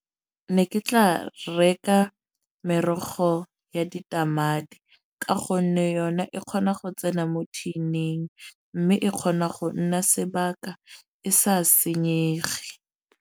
Ne ke tla reka merogo ya ditamati. Ka gonne yone e kgona go tsena mo tin-ing. Mme e kgona go nna sebaka e sa senyege.